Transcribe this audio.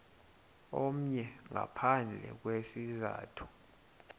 omnye ngaphandle kwesizathu